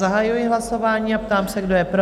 Zahajuji hlasování a ptám se, kdo je pro?